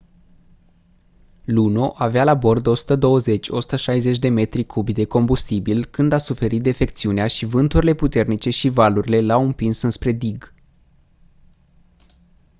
luno avea la bord 120-160 de metri cubi de combustibil când a suferit defecțiunea și vânturile puternice și valurile l-au împins înspre dig